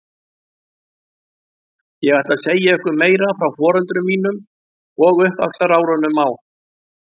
Ég ætla að segja ykkur meira frá foreldrum mínum og uppvaxtarárunum á